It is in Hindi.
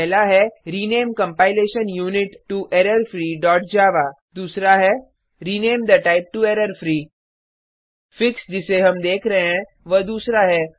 पहला है rename compilation unit to error free Java दूसरा है rename the type to error free fix जिसे हम देख रहे हैं वह दूसरा है